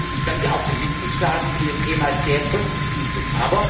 Ich danke auch den Mitgliedstaaten, die bei dem Thema sehr konstruktiv sind.